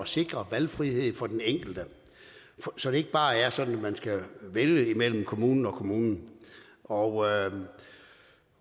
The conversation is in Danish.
sikre valgfrihed for den enkelte så det ikke bare er sådan at man skal vælge imellem kommunen kommunen og